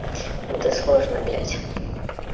это сложно блять